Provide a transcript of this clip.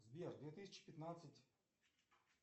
сбер две тысячи пятнадцать